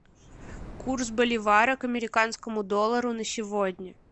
курс боливара к американскому доллару на сегодня